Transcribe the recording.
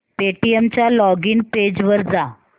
Paytm च्या login page वर जा